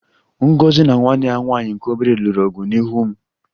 Ngozi na nwanne ya nwanyị nke obere lụrụ ọgụ n'ihu m